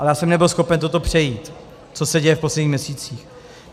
Ale já jsem nebyl schopen toto přejít, co se děje v posledních měsících.